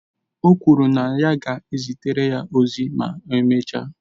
O kwuru na ya ga-ezitere ya ozi ma emechaa